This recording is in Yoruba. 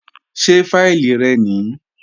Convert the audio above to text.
Ṣé fáìlì rẹ nìí?